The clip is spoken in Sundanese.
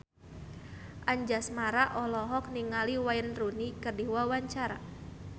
Anjasmara olohok ningali Wayne Rooney keur diwawancara